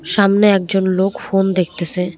সামনে একজন লোক ফোন দেখতেসে।